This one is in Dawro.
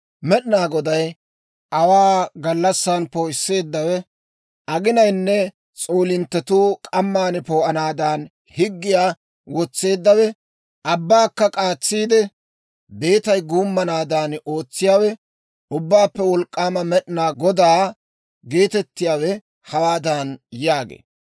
Med'inaa Goday, aawaa gallassan poo'isseeddawe, aginayinne s'oolinttetuu k'amman poo'anaadan higgiyaa wotseeddawe, abbaakka k'aatsiide, beetay guummanaadan ootsiyaawe, Ubbaappe Wolk'k'aama Med'inaa Godaa geetettiyaawe, hawaadan yaagee;